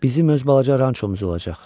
Bizim öz balaca rançomuz olacaq.